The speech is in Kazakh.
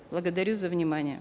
благодарю за внимание